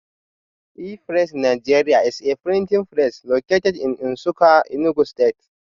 E-pressiNigeria is a printing press located in Nsukka Enugu stste